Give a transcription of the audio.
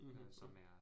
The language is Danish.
Mh mh